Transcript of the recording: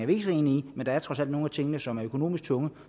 vi ikke så enige i men der er trods alt nogle af tingene som er økonomisk tunge og